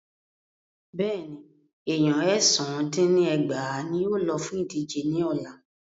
Bẹ́ẹ̀ni, èèyan èsán dín ní ẹgbàá ní yóò lọ fún ìdíje ní ọ̀la.